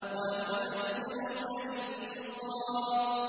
وَنُيَسِّرُكَ لِلْيُسْرَىٰ